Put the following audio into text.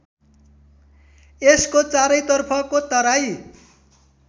यसको चारैतर्फको तराई